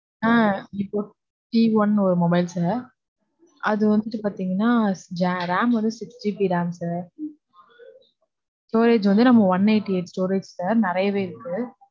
ஆஹ் Vivo t one ன்னு ஒரு mobile sir. அது வந்து பாத்தீங்கனா, ram வந்து six GB ram sir storage வந்து, நம்ம one eighty storage sir நெறையவே இருக்கு